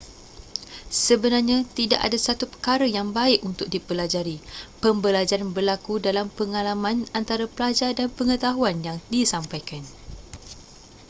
sebenarnya tidak ada satu perkara yang baik untuk dipelajari pembelajaran berlaku dalam pengalaman antara pelajar dan pengetahuan yang disampaikan